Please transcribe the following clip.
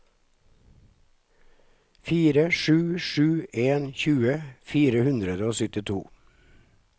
fire sju sju en tjue fire hundre og syttito